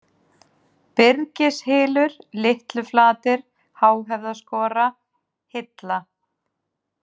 Byrgishylur, Litluflatir, Háhöfðaskora, Hilla